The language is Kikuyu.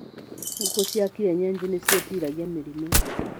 Ngũkũ cia kienyeji nĩ cĩitiragia mĩrimũ.